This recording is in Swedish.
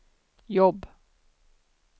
jobb